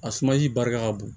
A sumasi barika ka bon